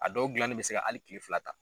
A dɔw gilanni bɛ se ka hali kile fila ta.